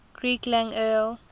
greek lang el